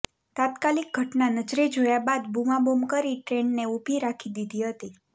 તાત્કાલિક ઘટના નજરે જોયા બાદ બુમાબુમ કરી ટ્રેનને ઉભી રાખી દીધી હતી